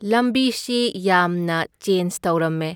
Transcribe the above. ꯂꯝꯕꯤꯁꯤ ꯌꯥꯝꯅ ꯆꯦꯟꯖ ꯇꯧꯔꯝꯃꯦ,